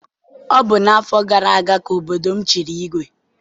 Ọ bụ n'afọ gara aga ka obodo m chiri igwe.